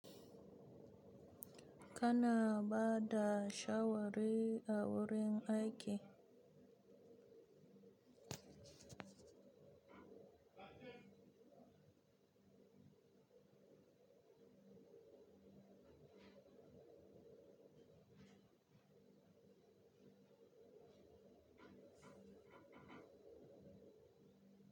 Kana bada shawari a wurin aiki?